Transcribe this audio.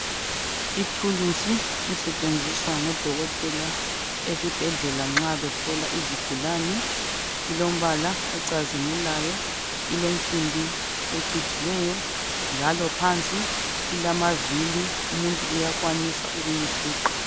Ithulusi elisetshenziswa ngodokotela esibhedlela nxa behlola izigulane lilombala ocazimulayo. Ilensimbi ecijileyo njalo phansi ilamavili umuntu uyakwanisa ukuyifuqa.